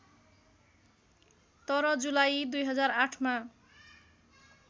तर जुलाई २००८ मा